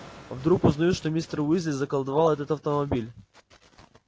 вдруг узнают что мистер уизли заколдовал этот автомобиль